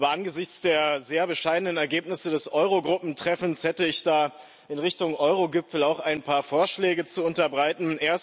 Aber angesichts der sehr bescheidenen Ergebnisse des Eurogruppentreffens hätte ich da in Richtung Eurogipfel auch ein paar Vorschläge zu unterbreiten.